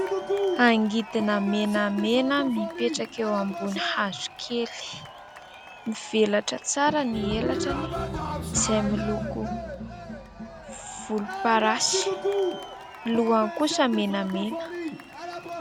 Angidina menamena mipetraka eo ambony hazo kely, mivelatra tsara ny elatrany izay miloko volomparasy, ny lohany kosa menamena.